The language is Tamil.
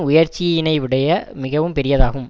உயர்ச்சியினைவிடைய மிகவும் பெரியதாகும்